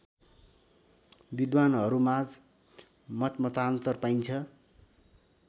विद्वानहरूमाझ मतमतान्तर पाइन्छ